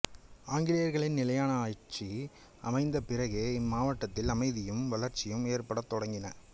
ஆங்கிலேயர்களின் நிலையான ஆட்சி அமைந்த பிறகே இம்மாவட்டத்தில் அமைதியும் வளர்ச்சியும் ஏற்படத் தொடங்கின